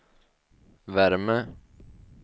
värme